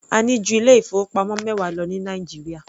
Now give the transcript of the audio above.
A ní ju ilé ìfowópamọ́ mẹwa lọ ní Nàìjíríà.